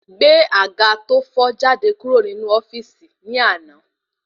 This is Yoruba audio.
Gbé àga to fo jáde kúrò ní inú ofíìsì ni àná